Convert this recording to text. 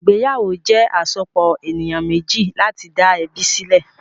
Ìgbéyàwó jẹ́ àsopọ̀ ènìyàn méjì láti dá ẹbí sílẹ̀.